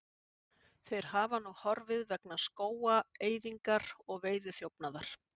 þeir hafa nú horfið vegna skógaeyðingar og veiðiþjófnaðar